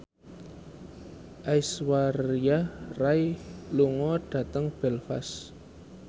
Aishwarya Rai lunga dhateng Belfast